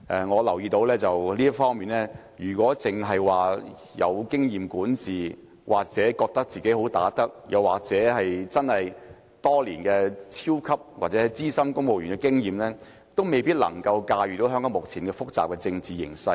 我留意到，在這方面來說，如果一個人只是有管治經驗或自覺"好打得"，又或真的擁有多年資深公務員的經驗，也未必能駕馭香港目前複雜的政治形勢。